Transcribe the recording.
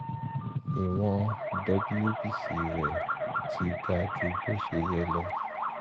ìwọ̀n wbc rẹ̀ ti ga ju bó ṣe yẹ lọ